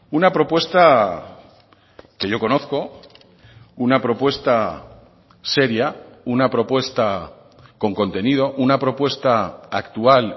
una propuesta que yo conozco una propuesta seria una propuesta con contenido una propuesta actual